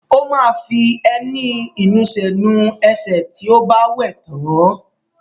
Ó máa fi ẹní ìnusẹ̀ nu ẹsẹ̀ tí ó bá wẹ̀ tán.